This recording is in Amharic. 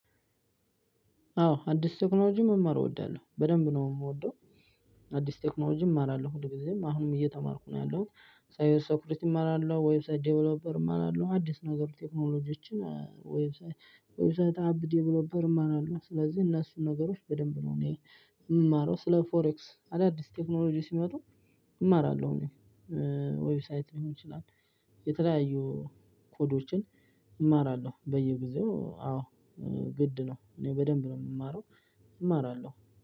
አወ አዲስ ቴክኖሎጂ መማር እወዳለሁ በደንብ ነው የምወደው። አዲስ ቴክኖሎጂም እማራለሁ ሁል ጊዜም አሁንም እየተማርኩ ነው ያለሁት። ሳይበር ሴኪሪቲ እማራለሁ ዌብሳይት ዴቨሎፐር እመራለሁ አዲስ ነገር ቴክኖሎጂዎችን ዌብሳይት ዌብሳይት አብ ዴቨሎፐር እማራለው። ስለዚህ እነሱን ነገሮች በደንብ ነው እኔ የምማረው ስለ ፎሬክስ አዳዲስ ቴክኖሎጂ ሲመጡ እማራለሁ። እኔ ዌብሳይት ሊሆን ይችላል የተለያዩ ኮዶችን እማራለሁ። በየጊዜው አዎ ግድ ነው። እኔ በደንብ ነው የምማረው እማራለሁ